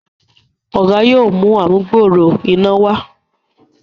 Oga yóò mú amugbooro iná wá.